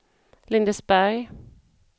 Lindesberg